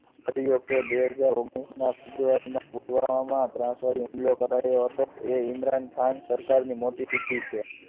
કર્યો કે બે હજાર ઓગણીસ માં પુલવામામાં ત્રાસવાદી હુમલો કરાયો હતો એ ઇમરાન ખાન સરકારની મોટી છે.